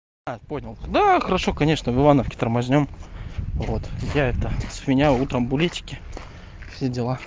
а понял да хорошо конечно в ивановке тормознём я вот я это с меня утром букетики все дела